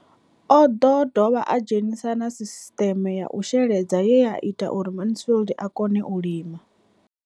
O ḓo dovha a dzhenisa na sisiṱeme ya u sheledza ye ya ita uri Mansfied a kone u lima.